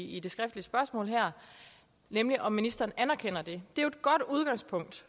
i det skriftlige spørgsmål her nemlig om ministeren anerkender det det er jo et godt udgangspunkt